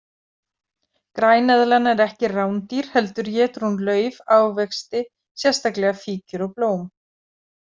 Græneðlan er ekki rándýr heldur étur hún lauf, ávexti, sérstaklega fíkjur og blóm.